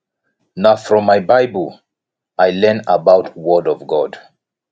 na from my bible i learn about word of god